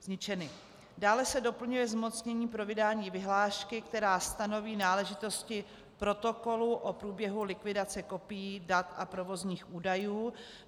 Dále se doplňuje zmocnění pro vydání vyhlášky, která stanoví náležitosti protokolu o průběhu likvidace kopií, dat a provozních údajů.